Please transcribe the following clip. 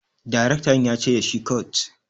direktan yace da shi"cut!"